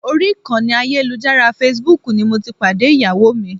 Orí ìkànnì ayélujára Facebook ni mo ti pàdé Ìyàwó mi.